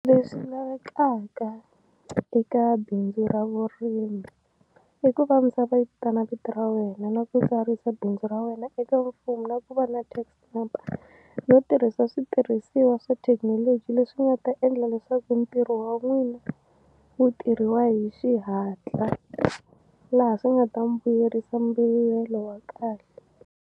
Leswi lavekaka eka bindzu ra vurimi i ku va misava yi vitana vito ra wena na ku tsarisa bindzu ra wena eka mfumo na ku va na tax number no tirhasa switirhisiwa swa thekinoloji leswi nga ta endla leswaku ntirho wa n'wina wu tirhiwa hi xihatla laha swi nga ta mu vuyerisa mbuyelo wa kahle.